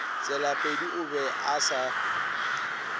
tselapedi o be a se